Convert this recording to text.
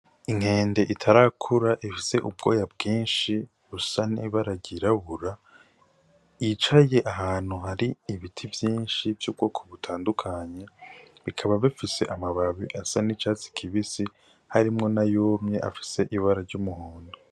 Inkende itarakura ifise ubwoya bwishi busa n'ibara ry'irabura yicaye ahantu hari ibiti vyishi vy'ubwoko butandukanye bikaba bifise amababi asa n'icatsi kibisi harimwo nayumye afise ibara ry'umuhondo.